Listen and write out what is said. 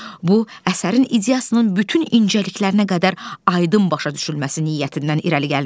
Bu əsərin ideasının bütün incəliklərinə qədər aydın başa düşülməsi niyyətindən irəli gəlmişdi.